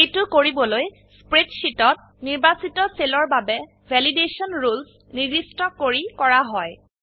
এইটো কৰিবলৈ স্প্ৰেডশীটত নিৰ্বাচিত সেলৰ বাবে ভেলিডেশ্যন ৰুলেছ নিৰ্দিষ্ট কৰি কৰা হয়